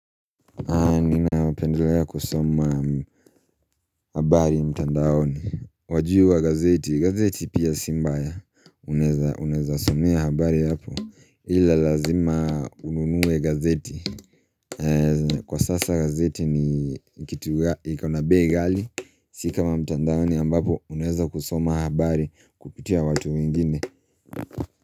Naendelea kusoma habari mtandaoni Wajua gazeti gazeti pia si mbaya Unaweza somea habari hapo Ila lazima ununue gazeti Kwa sasa gazeti ni iko na bei ghali Sikama mtandaoni ambapo Unaweza kusoma habari Kupitia watu wengine.